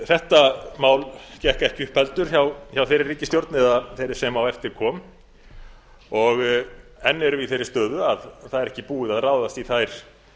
þetta mál gekk ekki upp heldur hjá þeirri ríkisstjórn eða þeirri sem á eftir kom enn erum við í þeirri stöðu að það er ekki búið að ráðast í þær